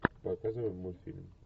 показывай мультфильм